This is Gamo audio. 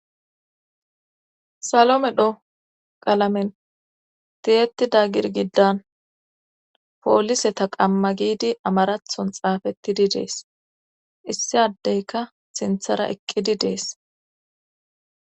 Salomedho qalamen tiyettida girgidan poolise ta qamma giidi amarathon xaafettidi dees issi addeyka sinthara eqqidi dees